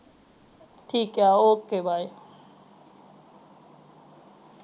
ਠੀਕ ਆ okaybye